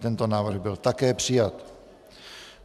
Tento návrh byl také přijat.